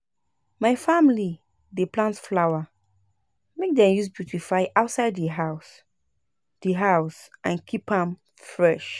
My family dey plant flower make dem use beautify outside di house di house and keep am fresh.